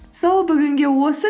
сол бүгінге осы